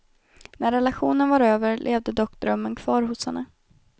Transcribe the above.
När relationen var över, levde dock drömmen kvar hos henne.